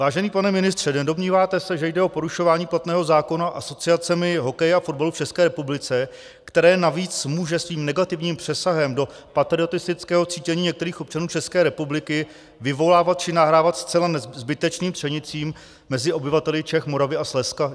Vážený pane ministře, nedomníváte se, že jde o porušování platného zákona asociacemi hokeje a fotbalu v České republice, které navíc může svým negativním přesahem do patriotistického cítění některých občanů České republiky vyvolávat či nahrávat zcela zbytečným třenicím mezi obyvateli Čech, Moravy a Slezska?